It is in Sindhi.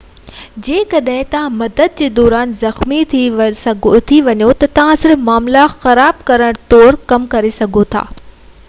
جيڪڏهن توهان مدد ڪرڻ دوران زخمي ٿي وڃو ٿا ته توهان صرف معاملا خراب ڪرڻ طور ڪم ڪري سگهو ٿا